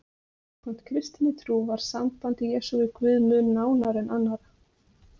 Samkvæmt kristinni trú var samband Jesú við Guð mun nánara en annarra.